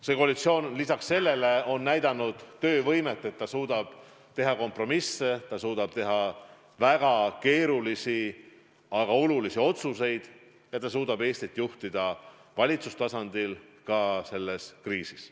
See koalitsioon on näidanud töövõimet, et ta suudab teha kompromisse, ta suudab teha väga keerulisi, aga olulisi otsuseid ja suudab Eestit valitsustasandil juhtida ka selles kriisis.